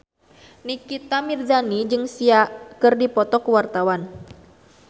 Nikita Mirzani jeung Sia keur dipoto ku wartawan